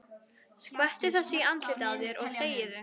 Skvettu þessu í andlitið á þér og þegiðu.